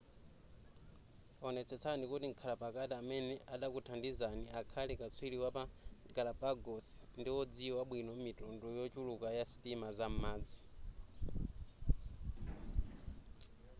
onetsetsani kuti mkhala pakati amene adakuthandizani akhale katswiri wapa galapagos ndiwodziwa bwino mitundu yochuluka ya sitima zam'madzi